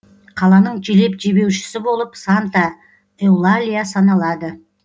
қаланың желеп жебеушісі болып санта эулалия саналады